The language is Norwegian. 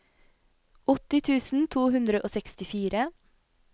åtti tusen to hundre og sekstifire